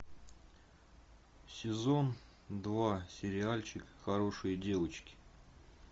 сезон два сериальчик хорошие девочки